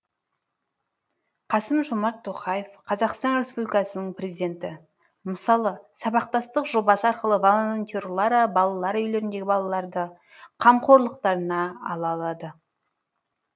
қасым жомарт тоқаев қазақстан республикасының президенті мысалы сабақтастық жобасы арқылы волонтерлер балалар үйлеріндегі балаларды қамқорлықтарына ала алады